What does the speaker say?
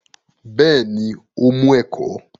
Bẹ́ẹ̀ ni, ó mú ẹ̀kọ́